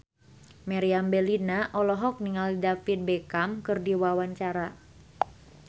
Meriam Bellina olohok ningali David Beckham keur diwawancara